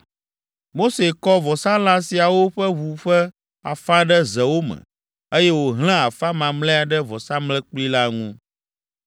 Mose kɔ vɔsalã siawo ƒe ʋu ƒe afã ɖe zewo me, eye wòhlẽ afã mamlɛa ɖe vɔsamlekpui la ŋu.